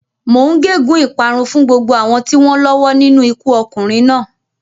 Mò ń gégùn ún ìparun fún gbogbo àwọn tí wọ́n lọ́wọ́ nínú ikú ọkùnrin náà.